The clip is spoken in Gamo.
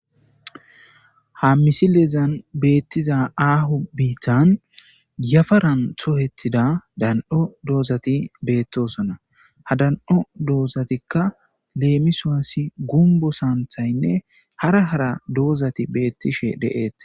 Ha misilezan betizay ago bitta yaparan goyetida dan'o doozati beetosona. Ha da'o doozatika gumbo santhaynne hara hara doozati beetishe de'etees.